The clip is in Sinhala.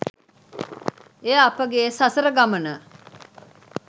එය අපගේ සසර ගමන